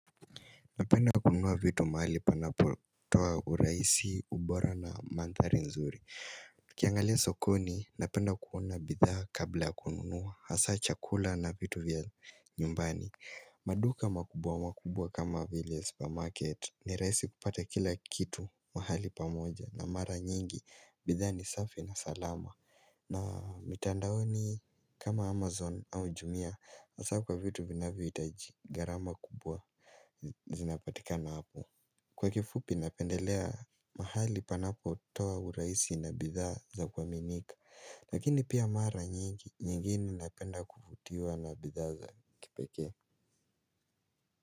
Napenda kununua vitu mahali panapotoa uraisi ubora na mandhari nzuri ukiangalia sokoni napenda kuona bidhaa kabla kununua hasa chakula na vitu vya nyumbani maduka makubwa makubwa kama vile supermarket ni raisi kupata kila kitu mahali pamoja na mara nyingi bidhaa ni safi na salama na mitandaoni kama Amazon au Jumia Asa kwa vitu vinavyo itaji garama kubwa Zinapatika na hapo Kwa kifupi napendelea mahali panapo toa uraisi na bidhaa za kuaminika Lakini pia mara nyingi nyingi napenda kufutiwa na bidhaa za kipekee.